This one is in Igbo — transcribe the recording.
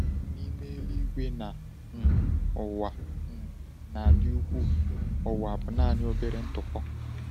N’ime eluigwe na um ụwa um a dị ukwuu, ụwa bụ naanị obere ntụpọ.